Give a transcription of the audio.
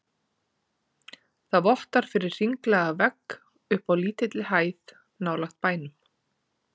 Það vottar fyrir hringlaga vegg uppi á lítilli hæð nálægt bænum.